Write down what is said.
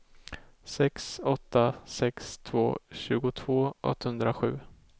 sex åtta sex två tjugotvå åttahundrasju